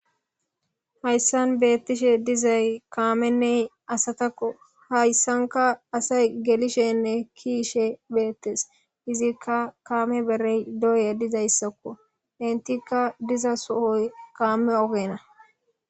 hayssan beettishe dizay kaamenney asatakko hayssanka asay gelishenne kiishe beettes izikka kaame berey doye dizayssakko intikka diza sohoy kaame ogena